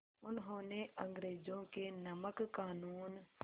उन्होंने अंग्रेज़ों के नमक क़ानून